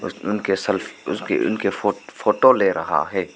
उनके सेल्फ उसके उनकी फो फोटो ले रहा है।